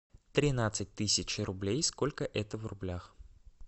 тринадцать тысяч рублей сколько это в рублях